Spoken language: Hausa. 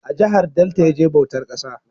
A jahar Delta ya je bautar ƙasa